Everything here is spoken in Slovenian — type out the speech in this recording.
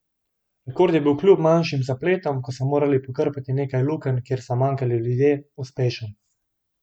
Rekord je bil kljub manjšim zapletom, ko so morali pokrpati nekaj lukenj, kjer so manjkali ljudje, uspešen.